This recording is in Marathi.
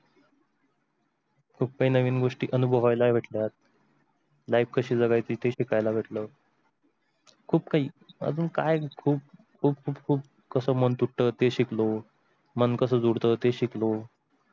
खूप काही नवीन गोष्टी अनुभवायला भेटल्यात. life कशी जगायची ते शिकायला भेटल. खूप काही अजून काय खूप खूप खूप कस मन दुखत ते शिकलो, मन कस जोडत ते शिकलो.